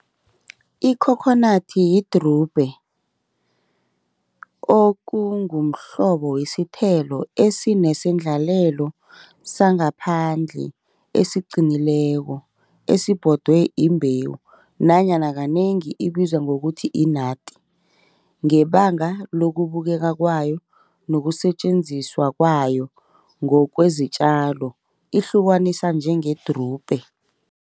Ikhokhonadi yidrubhe okungumhlobo wesithelo esinesendlalelo sangaphandle, eziqinileko, esibodwe imbewu nanyana kanengi ibizwa ngokuthi inati ngebanga lukubukeka kwayo, nokusetjenziswa kwayo ngokwezitjalo ihlukaniswa njengedrubhe